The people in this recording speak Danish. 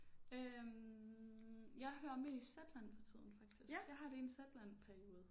Øh jeg hører mest Zetland for tiden faktisk jeg har lige en Zetland periode